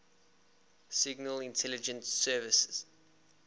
signal intelligence service